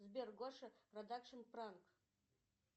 сбер гоша продакшн пранк